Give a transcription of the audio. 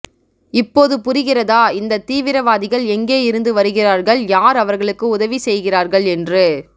இப்போது புரிகிறதா இந்த தீவிரவாதிகள் எங்கே இருந்து வருகிறார்கள் யார் அவர்களுக்கு உதவி செய்கிறார்கள் என்று